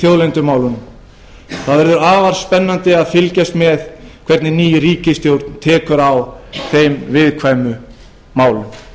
þjóðlendumálunum það verður afar spennandi að fylgjast með hvernig ný ríkisstjórn tekur á þeim viðkvæmu málum